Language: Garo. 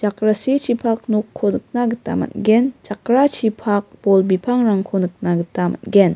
nokko nikna gita man·gen jakrachipak bol bipangrangko nikna gita man·gen.